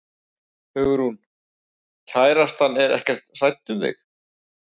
Hugrún: Kærastan er ekkert hrædd um þig?